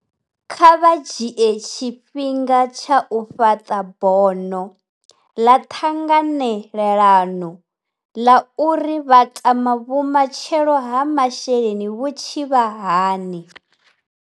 Kha vha dzhie tshifhinga tsha u fhaṱa bono ḽa ṱhanganelano ḽa uri vha tama vhumatshelo ha masheleni vhu tshi vha hani.